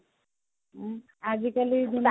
ହୁଁ ଆଉ ଗୋଟେ